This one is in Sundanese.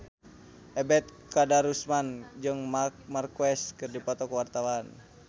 Ebet Kadarusman jeung Marc Marquez keur dipoto ku wartawan